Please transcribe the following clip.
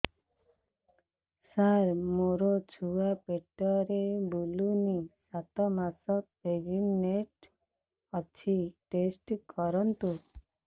ସାର ମୋର ଛୁଆ ପେଟରେ ବୁଲୁନି ସାତ ମାସ ପ୍ରେଗନାଂଟ ଅଛି ଟେଷ୍ଟ କରନ୍ତୁ